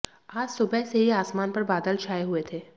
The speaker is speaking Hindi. आज सुबह से ही आसमान पर बादल छाये हुए थे